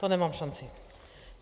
To nemám šanci.